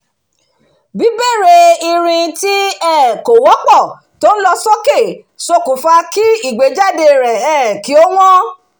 bibere irin tí um kò wọ́pọ̀ to ń lọ sókè ṣokùnfà kí ìgbéjáde rẹ̀ um kí ó wọ́n